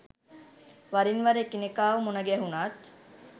වරින්වර එකිනෙකාව මුණ ගැහුණත්